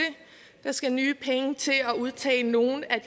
der skal nye penge til at udtage nogle af